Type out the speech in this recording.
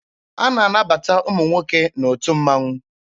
A na-anabata ụmụ nwoke n'otu mmaṅụ.